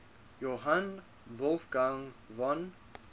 johann wolfgang von